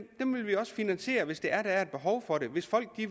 finansiere hvis der er et behov for det hvis folk